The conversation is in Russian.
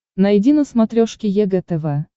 найди на смотрешке егэ тв